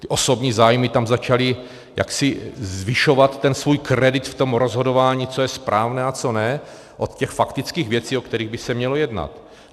Ty osobní zájmy tam začaly jaksi zvyšovat ten svůj kredit v tom rozhodování, co je správné a co ne, od těch faktických věcí, o kterých by se mělo jednat.